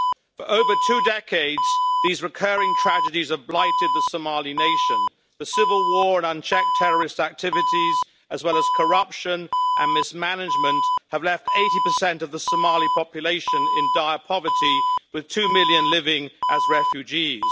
For over two decades, these recurring tragedies have blighted the Somali nation. The civil war and unchecked terrorist activities, as well as corruption and mismanagement, have left 80 of the Somali population in dire poverty, with two million living as refugees.